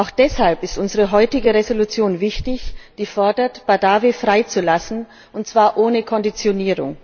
Auch deshalb ist unsere heutige Entschließung wichtig, die fordert, Badawi freizulassen, und zwar ohne Konditionen.